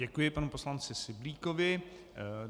Děkuji panu poslanci Syblíkovi.